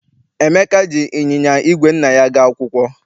Emeka ji ịnyịnya igwe nna ya aga akwụkwọ.